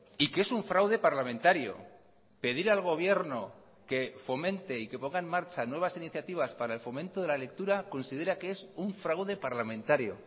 y que es un fraude parlamentario pedir al gobierno que fomente y que ponga en marcha nuevas iniciativas para el fomento de la lectura considera que es un fraude parlamentario